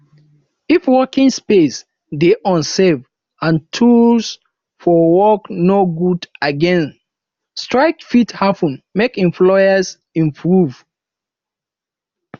if working space de unsafe and tools for work no good again strike fit happen make employers improve